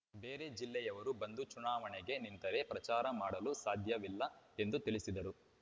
ಬೇರೆ ಜಿಲ್ಲೆಯವರು ಬಂದು ಚುನಾವಣೆಗೆ ನಿಂತರೆ ಪ್ರಚಾರ ಮಾಡಲು ಸಾಧ್ಯವಿಲ್ಲ ಎಂದು ತಿಳಿಸಿದರು